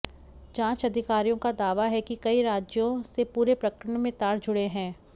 जांच अधिकारियों का दावा है कि कई राज्यों से पूरे प्रकरण में तार जुड़े हैं